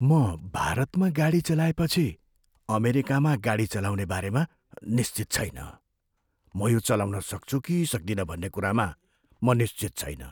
म भारतमा गाडी चलाएपछि अमेरिकामा गाडी चलाउने बारेमा निश्चित छैन। म यो चलाउन सक्छु कि सक्दिनँ भन्ने कुरामा म निश्चित छैन।